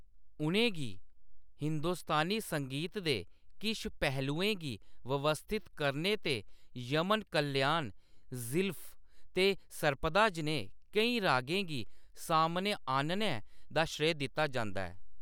उʼनें गी हिंदुस्तानी संगीत दे किश पहलुएं गी व्यवस्थित करने ते यमन कल्याण, ज़ीलफ ते सर्पदा जनेह् केईं रागें गी सामनै आह्‌‌‌नने दा श्रेय दित्ता जंदा ऐ।